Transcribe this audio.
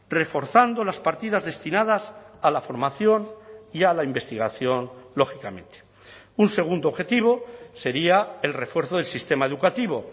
reforzando las partidas destinadas a la formación y a la investigación lógicamente un segundo objetivo sería el refuerzo del sistema educativo